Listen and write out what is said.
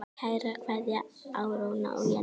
Kær kveðja, Áróra og Jenný.